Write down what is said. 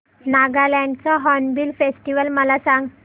नागालँड चा hornbill festival मला सांग